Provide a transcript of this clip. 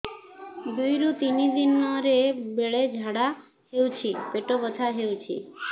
ଦୁଇରୁ ତିନି ଦିନରେ ବେଳେ ଝାଡ଼ା ହେଉଛି ପେଟ ବଥା ହେଉଛି